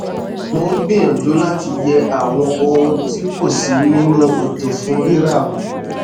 mò n gbìyànjú láti yẹ àwọn ohun tí kò sí nínú ètò fún rírà wo